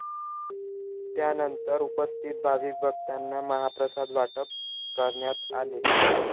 त्यानंतर उपस्थित भाविक भक्तांना महाप्रसाद वाटप करण्यात आले.